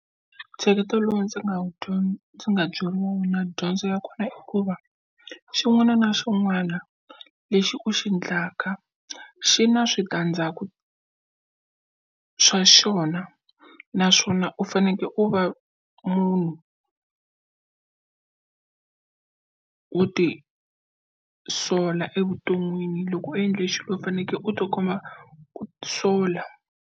Ntsheketo lowu ndzi nga wu ndzi nga byeriwa wona dyondzo ya kona i ku va xin'wana na xin'wana lexi u xi endlaka xi na switandzaku swa xona naswona u fanekele u va munhu wo ti sola evuton'wini loko u endla lexi u fanekele u ti kuma ku sola.